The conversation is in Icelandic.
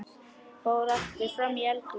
Fór aftur fram í eldhús.